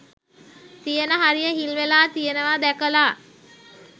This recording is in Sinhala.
තියෙන හරිය හිල් වෙලා තියෙනවා දැකලා